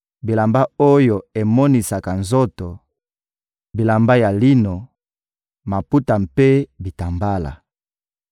bilamba oyo emonisaka nzoto, bilamba ya lino, maputa mpe bitambala.